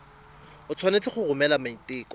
o tshwanetse go romela maiteko